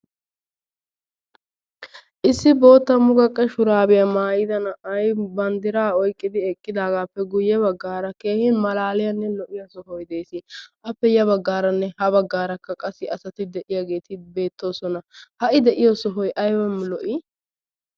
Issi bootta muqaqqe shurabiya maayyida na'ay banddira oyqqidi eqqaadappe guyye baggaara keehin malaaliyaannelo''iya sohoy dees. appe ya baggaaranne ha baggaarakka qassi asati de'iyaageeti beettoosona. Ha I de'iyo sohoy aybba lo''i!